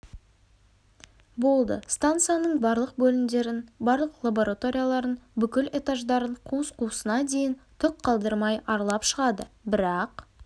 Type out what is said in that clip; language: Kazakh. болды станцияның барлық бөлімдерін барлық лабораторияларын бүкіл этаждарын қуыс-қуысына дейін түк қалдырмай аралап шығады бірақ